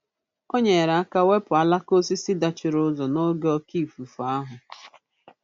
O nyere aka wepụ alaka osisi dachiri ụzọ n'oge oke ifufe ahụ.